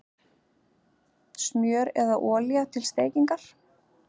Smjör eða olía til steikingar